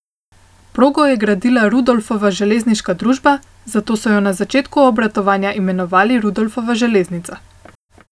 Progo je gradila Rudolfova železniška družba, zato so jo na začetku obratovanja imenovali Rudolfova železnica.